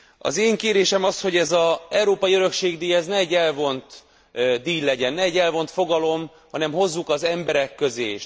Az én kérésem az, hogy ez az Európai Örökség díj, ez ne egy elvont díj legyen, ne egy elvolt fogalom, hanem hozzuk az emberek közé.